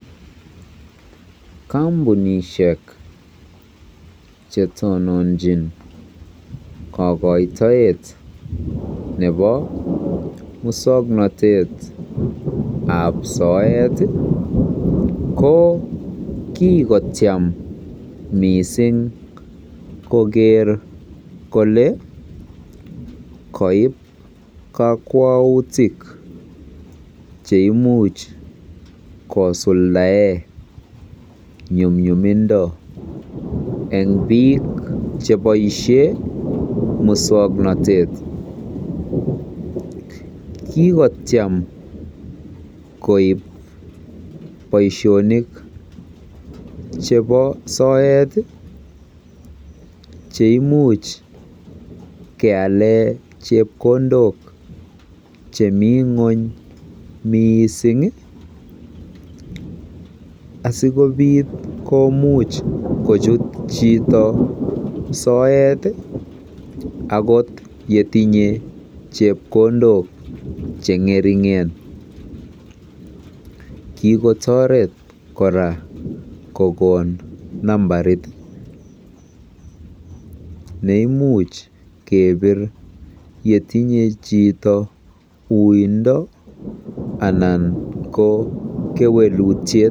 Kompunishek chetononchin kokoitoet nebo muswoknotet ab soet tii ko kikotyem missing koker kole koib kokwoutit cheimuch kosuldae nyumnyumindo en bik cheboishen muswoknotet. Kikotuem koib boishonik chebo soet cheimuch kealen chepkondok chemii ngwony missing asikopit kochut chito soet akot kotinye chepkondok chengeringe , kikotoret Koraa kokon nambarit neimuch kepir yetinye chito wuindo ana ko kewelutyet.